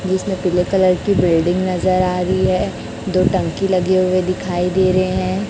जिसमें पीले कलर की बिल्डिंग नजर आ रही है दो टंकी लगे हुए दिखाई दे रहे हैं।